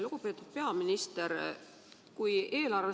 Lugupeetud peaminister!